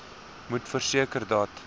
moet verseker dat